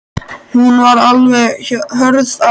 Hún var alveg hörð á því.